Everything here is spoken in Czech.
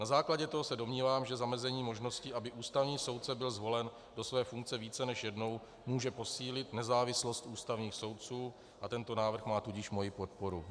Na základě toho se domnívám, že zamezení možnosti, aby ústavní soudce byl zvolen do své funkce více než jednou, může posílit nezávislost ústavních soudců, a tento návrh má tudíž moji podporu.